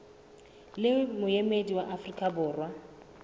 le moemedi wa afrika borwa